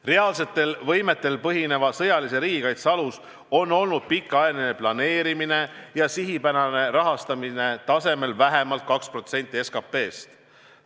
Reaalsetel võimetel põhineva sõjalise riigikaitse alus on olnud pikaajaline planeerimine ja sihipärane rahastamine tasemel vähemalt 2% SKT-st.